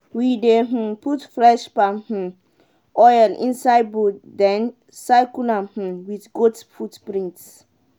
we dey um put fresh palm um oil inside bowl then circle am um with goat footprints.